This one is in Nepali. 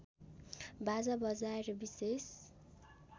बाजा बजाएर विशेष